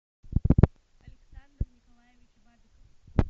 александр николаевич бабиков